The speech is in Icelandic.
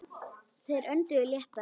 Þeir önduðu léttar.